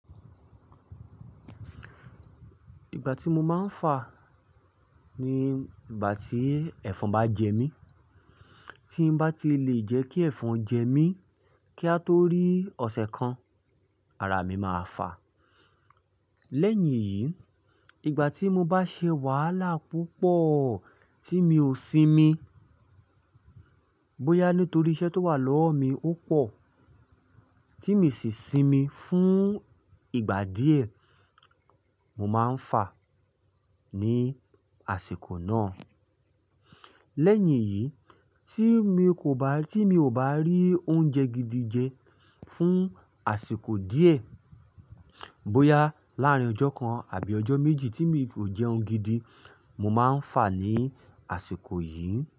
Ìgbà tí mo máa ń fà ni ìgbà tí ẹ̀fọn bá jẹ mí. Tí n bá ti lè jẹ́ kí ẹ̀fọn jẹ mí kí á tó rí ọ̀sẹ̀ kan, ara mi máa fà. Lẹ́yìn yìí, ìgbà tí mo bá ṣe wàhálà púpọ̀ tí mi ò sinmi, bóyá nítorí iṣẹ́ tó wà lọ́wọ́ mi ó pọ̀ tí miì sì sinmi fún ìgbà díẹ̀, mo máa ń fà ní àsìkò náà. Lẹ́yìn yìí, tí mi kò bá, tí mi ò bá rí oúnjẹ gidi jẹ fún àsìkò díẹ̀, bóyá láàrín ọjọ́ kan àbí ọjọ́ méjì tí mi kò jẹ oúnjẹ gidi, mo máa ń fà ní àsìkò yìí.